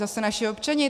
Zase naši občani?